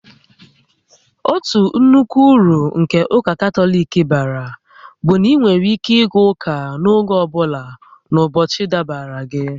Otu nnukwu uru nke ụka Katọlik bara bụ na ị nwere ike ịga ụka n'oge ọ bụla n'ụbọchị dabara gị